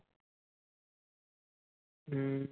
ਹਮ